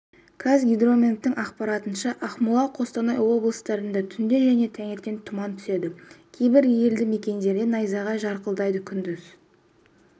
қазгидрометтің ақпаратынша ақмола қостанай облыстарында түнде және таңертең тұман түседі кейбір елді мекендерде найзағай жарқылдайды күндіз